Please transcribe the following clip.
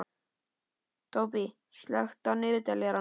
Tóbý, slökktu á niðurteljaranum.